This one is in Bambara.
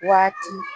Waati